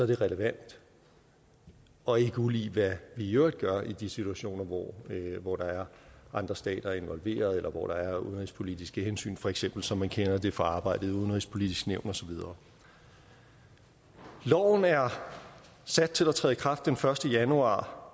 det relevant og ikke ulig hvad vi i øvrigt gør i de situationer hvor hvor der er andre stater involveret eller hvor der er udenrigspolitiske hensyn for eksempel som man kender det fra arbejdet i det udenrigspolitiske nævn og så videre loven er sat til at træde i kraft den første januar